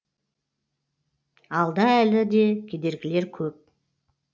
алда әлі де кедергілер көп